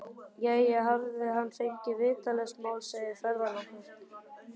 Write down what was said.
Jæja, hafði hann fengið vitlaust mál, segir ferðalangur.